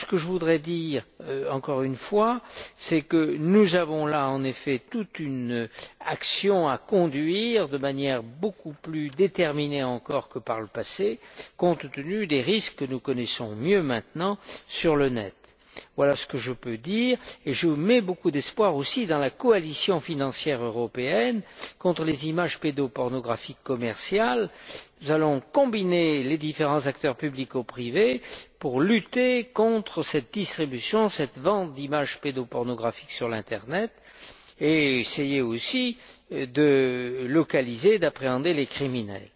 Je voudrais dire encore une fois que nous avons là en effet toute une action à conduire de manière beaucoup plus déterminée encore que par le passé, compte tenu des risques que nous connaissons mieux maintenant sur le net. Je mets beaucoup d'espoir aussi dans la coalition financière européenne contre les images pédopornographiques commerciales. Nous allons combiner les différents acteurs publics ou privés pour lutter contre cette distribution, cette vente d'images pédopornographiques sur l'Internet, et essayer aussi de localiser et d'appréhender les criminels.